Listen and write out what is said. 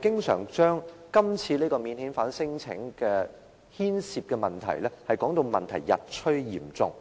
經常將今次免遣返聲請牽涉的問題說得日趨嚴重。